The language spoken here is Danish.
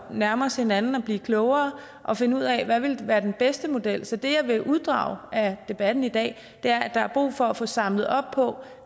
nærme os hinanden og blive klogere og finde ud af hvad der vil være den bedste model så det jeg vil uddrage af debatten i dag er at der er brug for at få samlet op på